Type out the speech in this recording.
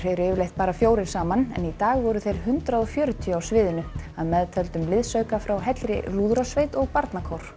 eru yfirleitt bara fjórir saman en í dag voru þeir hundrað og fjörutíu á sviðinu að meðtöldum liðsauka frá heilli lúðrasveit og barnakór